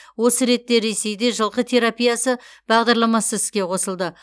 осы ретте ресейде жылқы терапиясы бағдарламасы іске қосылды